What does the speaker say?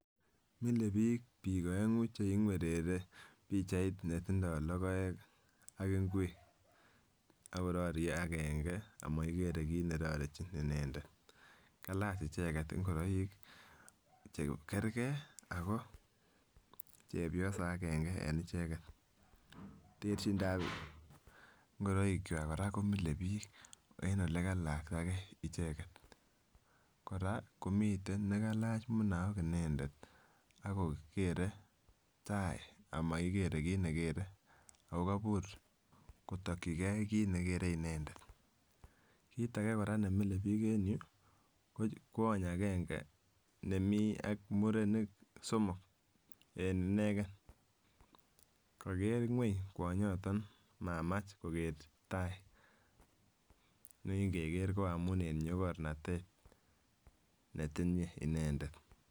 Milebik bik oengu cheiywerere pichait netindoi lokoek ak ingwek ak kororie agenge amokikere kit nerorechi inendet, kalach icheket ingiroik chekergee ako chepyosok agenge en icheket. Terchindap ingoroik kwak Koraa komile bik en ole kalakta gee icheket Koraa komitech nekailach munaok inendet akokere tai amokikere kit mekere okobur kotoki gee kit nekere inendet. Kit age koraa nemile bik en ireyuu ko kwony agenge nemii ak murenik somok en ineken kokere ngweny kwonyoton mamack kokere tai ne inkeker ko amun en nyokornate netinye inendet.